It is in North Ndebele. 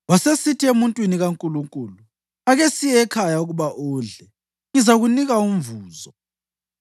Wasesithi emuntwini kaNkulunkulu: “Ake siye ekhaya ukuba udle, ngizakunika umvuzo.”